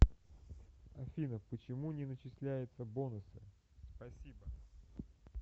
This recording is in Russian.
афина почему не начисляется бонусы спасибо